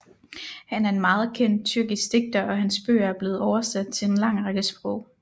Han er en meget kendt tyrkisk digter og hans bøger er blevet oversat til en lang række sprog